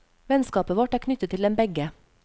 Vennskapet vårt er knyttet til dem begge.